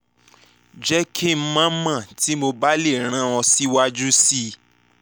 jẹ ki n mọ mọ ti mo ba le ran ọ siwaju sii